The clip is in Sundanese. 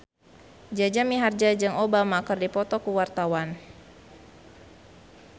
Jaja Mihardja jeung Obama keur dipoto ku wartawan